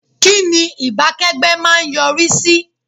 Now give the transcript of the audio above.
Kínni ìbákẹ́gbẹ́ má a ń yọrí sí?